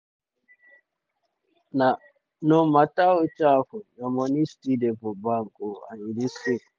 no mata wetin happun your money still dey for bank and e dey safe.